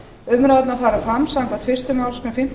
umræðurnar fara fram samkvæmt fyrstu málsgrein fimmtíu